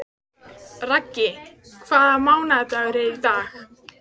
Raggi, hvaða mánaðardagur er í dag?